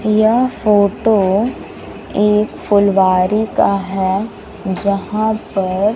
यह फोटो एक फुलवारी का है यहां पर--